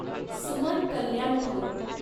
Suman Kalyanpur